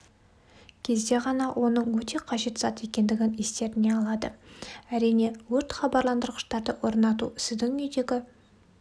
кезде ғана оның өте қажет зат екендігін естеріне алады әрине өрт хабарландырғыштарды орнату сіздің үйдегі